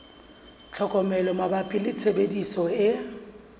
tlhokomelo mabapi le tshebediso e